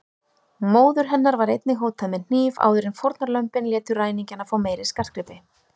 Móður hennar var einnig hótað með hníf áður en fórnarlömbin létu ræningjana fá meiri skartgripi.